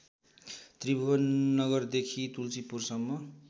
त्रिभुवन नगरदेखि तुल्सीपुरसम्म